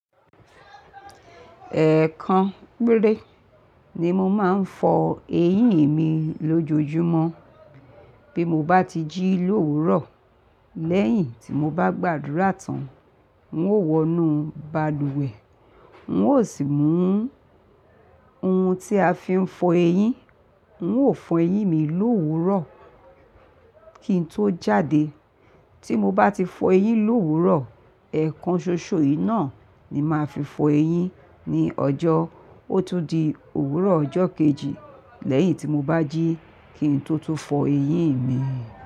Ẹ̀ẹ̀kan péré ni mo máa ń fọ eyín mi lójoojúmọ́. Bí mo bá ti jí lówuro, lẹ́yìn tí mo bá gbàdúrà tán, n ó wọnú balùwẹ̀, n ó sì mú ohun tí a fi ń fọ eyín, n ó fọ eyín mi lóòrùn kí n tó jáde. Tí mo bá ti fọ eyín lówuro, ẹ̀ẹ̀kan ṣoṣo yìí náà ni màá fi fọ eyín ní ọjọ́. Ó tún di òwúrọ̀ ọjọ́ kejì lẹ́yìn tí mo bá jí kí n tó tún fọ eyín mi.